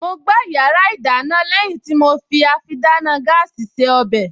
Mo gbá yàrá ìdáná lẹ́yìn tí mo fi àfidáná gáàsì se ọbẹ̀